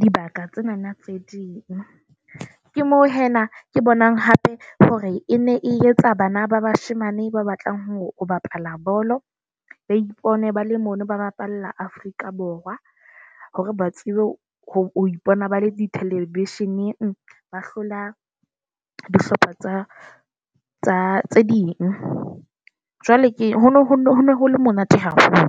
dibaka tsena tse ding. Ke moo hee nna ke bonang hape hore e ne e etsa bana ba bashemane ba batlang hore o bapala bolo, ba ipone ba le mono ba bapalla Afrika Borwa. Hore ba tsebe ho ipona ba le di-television-eng, ba hlola dihlopha tsa tsa tse ding. Jwale ke hono ho le monate haholo.